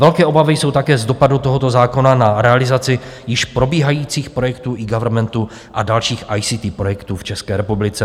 Velké obavy jsou také z dopadu tohoto zákona na realizaci již probíhajících projektů eGovernmentu a dalších ICT projektů v České republice.